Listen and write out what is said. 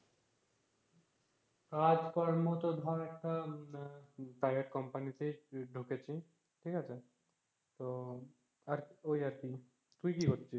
কাজকর্ম তো ধর একটা private company তে ঢুকেছি ঠিক আছে, তো আর ওই আর কি। তুই কি করছিস?